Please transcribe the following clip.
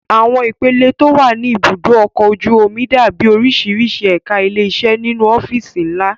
Àwọn ipele tó wà ní ibùdó ọkọ̀ ojú omi dàbí oríṣiríṣi ẹ̀ka ilé iṣẹ́ nínú ọ́fíìsì ńlá